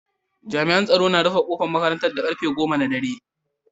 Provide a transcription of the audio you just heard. Jami'an tsaro na rufe kofar makarantar da karfe goma na dare.